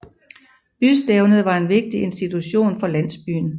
Bystævnet var en vigtig institution for landsbyen